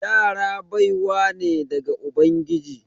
Yara baiwa ne daga ubangiji.